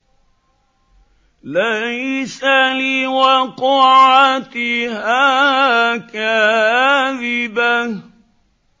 لَيْسَ لِوَقْعَتِهَا كَاذِبَةٌ